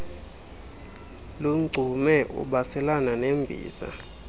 lungcume ubaselana nembiza